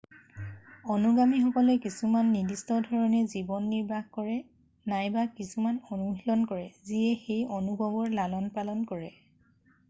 অনুগামীসকলে কিছুমান নিৰ্দিষ্ট ধৰণে জীৱন নিৰ্বাহ কৰে নাইবা কিছুমান অনুশীলন কৰে যিয়ে সেই অনুভৱৰ লালন পালন কৰে